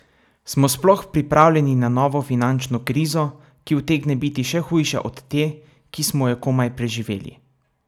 Smo sploh pripravljeni na novo finančno krizo, ki utegne biti še hujša od te, ki smo jo komaj preživeli?